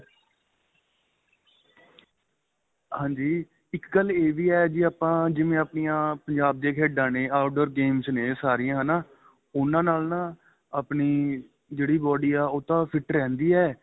ਹਾਂਜੀ ਇੱਕ ਗੱਲ ਏਵੀ ਏ ਜ਼ੀ ਆਪਾ ਜਿਵੇਂ ਆਪਣੀਆਂ ਪੰਜਾਬ ਦੀਆ ਖੇਡਾਂ ਨੇ out door games ਨੇ ਸਾਰੀਆਂ ਹੈਨਾ ਉਹਨਾ ਨਾਲ ਨਾ ਆਪਣੀ ਜਿਹੜੀ body ਏ ਉਹ ਤਾਂ fit ਰਹਿੰਦੀ ਏ